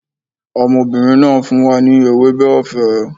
Ọmọbìnrin náà fún wa ní ewébẹ̀ ọ̀fẹ́